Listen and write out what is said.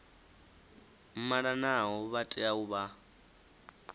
malanaho vha tea u vha